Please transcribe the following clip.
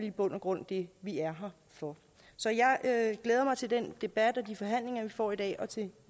i bund og grund det vi er her for så jeg glæder mig til den debat og de forhandlinger vi får i dag og til